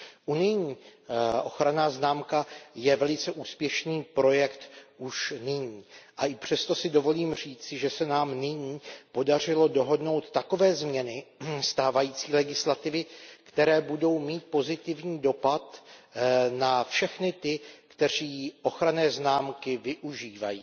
Unijní ochranná známka je velice úspěšný projekt už nyní a i přesto si dovolím říci, že se nám nyní podařilo dohodnout takové změny stávající legislativy, které budou mít pozitivní dopad na všechny ty, kteří ochranné známky využívají.